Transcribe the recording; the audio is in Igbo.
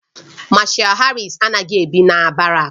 Mashal Harris anaghị ebi na barak